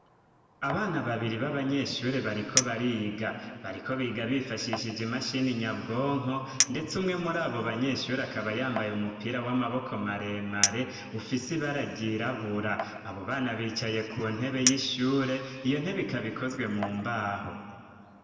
Abana babiri b'abanyeshure bariko bariga. Bariko biga bifashishije imashini nyabwonko ndetse umwe muri abo banyeshure akaba yambaye umupira w'amaboko maremare ufise ibara ryirabura. Abo bana bicaye ku ntebe y'ishure iyo ntebe ikaba ikozwe mu mbaho.